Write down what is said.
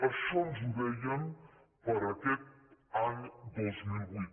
això ens ho deien per a aquest any dos mil vuit